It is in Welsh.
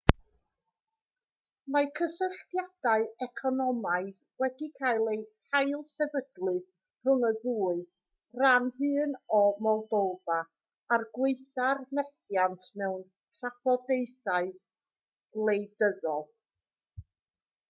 mae cysylltiadau economaidd wedi cael eu hailsefydlu rhwng y ddwy ran hyn o moldofa er gwaetha'r methiant mewn trafodaethau gwleidyddol